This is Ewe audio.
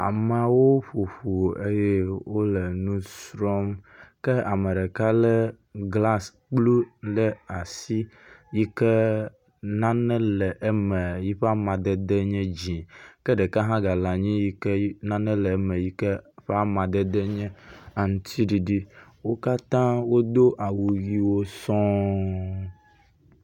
Amewo ƒoƒu eye wole nusrɔ̃m ke ame ɖeka lé glasi blu ɖe asi yi ke nane le eme yi ƒe amadede nye dzĩ ke ɖeka hã gale anyi yi ke nane le eme yi ke ƒe amadede nye aŋtsiɖiɖi. Wo katã wodo awu ʋiwo sɔɔɔɔɔɔ.